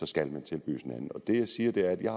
skal man tilbydes en anden det jeg siger er at jeg